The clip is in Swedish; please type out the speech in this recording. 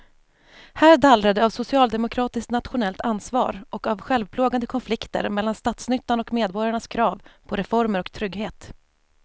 Här dallrar det av socialdemokratiskt nationellt ansvar och av självplågande konflikter mellan statsnyttan och medborgarnas krav på reformer och trygghet.